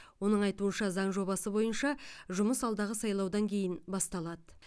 оның айтуынша заң жобасы бойынша жұмыс алдағы сайлаудан кейін басталады